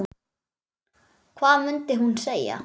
Hvað mundi hún segja?